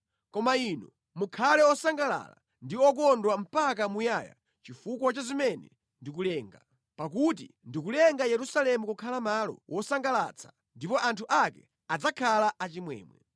Koma inu mukhale osangalala ndi okondwa mpaka muyaya chifukwa cha zimene ndikulenga, pakuti ndikulenga Yerusalemu kukhala malo wosangalatsa ndipo anthu ake adzakhala achimwemwe.